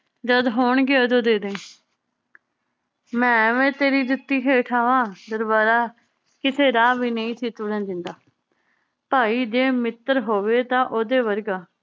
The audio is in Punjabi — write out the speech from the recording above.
ਜਦ ਹੋਣਗੇ ਓਦੋਂ ਦੇ ਦਈ। ਮੈ ਐਵੀਂ ਤੇਰੀ ਜੁੱਤੀ ਹੇਠਾ ਆਵਾਂ। ਦਰਬਾਰਾ ਕਿਸੇ ਰਾਹ ਵੀ ਨਈ ਸੀ ਚੁਣਨ ਦਿੰਦਾ। ਭਾਈ ਜੇ ਮਿੱਤਰ ਹੋਵੇ ਤਾਂ ਓਦੇ ਵਰਗਾ।